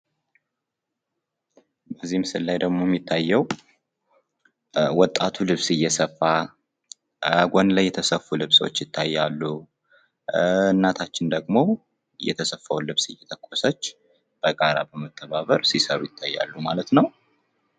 በዚህ ምስል ላይ ደግሞ የሚታየዉ ወጣቱ ልብስ እየሰፋ ጎን ላይ የተሰፉ ልብሶች ይታያሉ። እናታችን ደግሞ የተሰፋዉን ልብስ እየተኮሰች በጋራ በመተባበር ሲሰሩ ይታያሉ ማለት ነዉ።